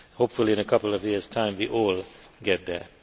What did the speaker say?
Hopefully, in a couple of years' time we will all get there.